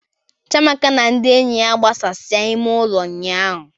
Chamaka na ndị enyi ya gbasasịa ime ụlọ ụnyahụ